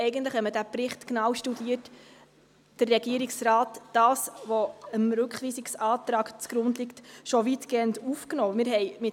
Wenn man den Bericht genau studiert, sieht man, dass der Regierungsrat rein materiell das, was dem Rückweisungsantrag zugrunde liegt, schon weitgehend aufgenommen hat.